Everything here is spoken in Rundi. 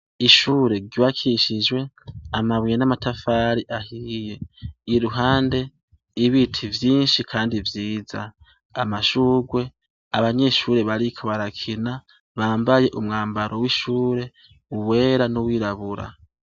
Ishure ryubakishijwe amabuye n’amatafari ahiye ,ririr’uhande y’ibiti vyinshi Kandi vyiza. Amashugwe ; abanyeshure bariko barakina, bambaye umwambaro w’ishure, uwera n’uwirabura.